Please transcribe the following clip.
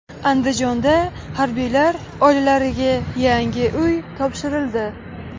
Andijonda harbiylar oilalariga yangi uy topshirildi.